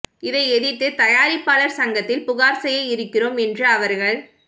இதை எதிர்த்து தயாரிப்பாளர் சங்கத்தில் புகார் செய்ய இருக்கிறோம் என்று அவர்கள்